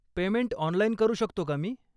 Payment online करू शकतो का मी?